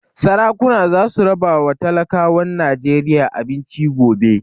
Sarakuna za su raba ma talakawan Najeriya abinci gobe